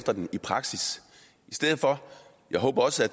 i praksis jeg håber også at